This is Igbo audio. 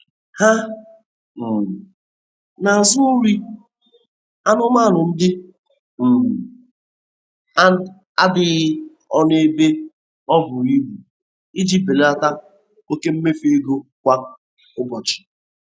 Ha um na-azụ nri anụmanụ ndị um a n'adịghị ọnụ ebe o buru ibu iji belata oke mmefu ego kwa ụbọchi.